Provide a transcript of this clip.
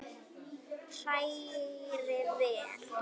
Hrærið vel.